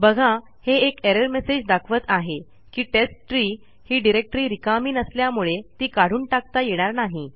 बघा हे एक एरर मेसेज दाखवत आहे की टेस्टट्री ही डिरेक्टरी रिकामी नसल्यामुळे ती काढून टाकता येणार नाही